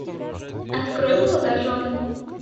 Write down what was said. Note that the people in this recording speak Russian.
открой молодожены